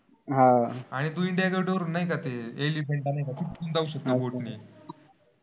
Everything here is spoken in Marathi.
आह आणि तो इंडिया डोर नाही का ते? एलिफंटा नाही का ते? चौक आहे.